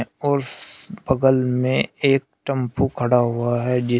और बगल में एक टम्पु खड़ा हुआ है जिस--